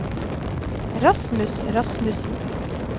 Rasmus Rasmussen